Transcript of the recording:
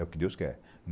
É o que Deus quer.